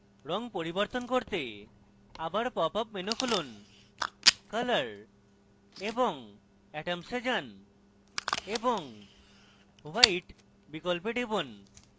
রঙ পরিবর্তন করতে আবার popup menu খুলুন color এবং atoms এ যান এবং white বিকল্পে টিপুন